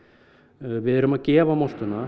við erum að gefa